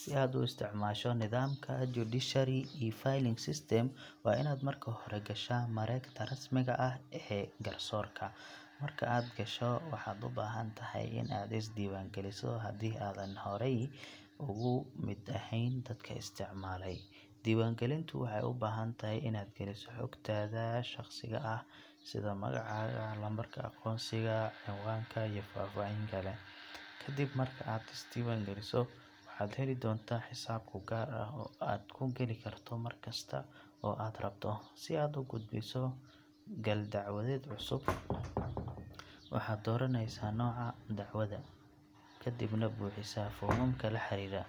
Si aad u isticmaasho nidaamka judiciary e-filing system waa inaad marka hore gashaa mareegta rasmiga ah ee garsoorka. Marka aad gasho, waxaad u baahan tahay in aad is diiwaangeliso hadii aadan horey uga mid ahayn dadka isticmaalay. Diiwaangelintu waxay u baahan tahay inaad geliso xogtaada shaqsiga ah sida magacaaga, lambarka aqoonsiga, cinwaanka iyo faahfaahin kale. Kadib marka aad is diiwaangeliso, waxaad heli doontaa xisaab kuu gaar ah oo aad ku gali karto markasta oo aad rabto. Si aad u gudbiso gal dacwadeed cusub, waxaad dooranaysaa nooca dacwadda, kadibna buuxisaa foomamka la xiriira.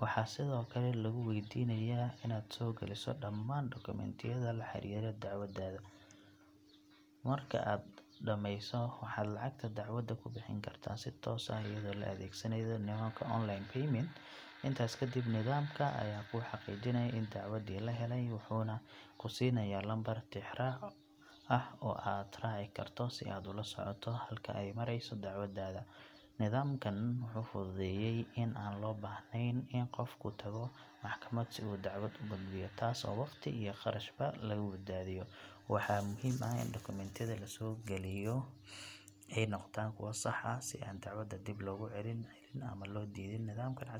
Waxaa sidoo kale lagu weydiinayaa inaad soo geliso dhammaan dukumiintiyada la xiriira dacwaddaada. Marka aad dhamayso, waxaad lacagta dacwadda ku bixin kartaa si toos ah iyadoo la adeegsanayo nidaamka online payment. Intaas kadib, nidaamka ayaa kuu xaqiijinaya in dacwaddii la helay, wuxuuna ku siinayaa lambar tixraac ah oo aad raaci karto si aad ula socoto halka ay marayso dacwaddaada. Nidaamkan wuxuu fududeeyay in aan loo baahnayn in qofku tago maxkamad si uu dacwad u gudbiyo, taas oo waqti iyo kharashba laga badbaado. Waxaa muhiim ah in dukumiintiyada la soo gelinayo ay noqdaan kuwo sax ah, si aan dacwadda dib loogu celin ama loo diidin. Nidaamkan casriga ah wuxuu sare u qaaday hufnaanta iyo degdegga adeegyada garsoorka.